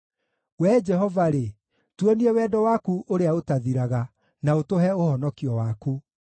Wee Jehova-rĩ, tuonie wendo waku ũrĩa ũtathiraga, na ũtũhe ũhonokio waku.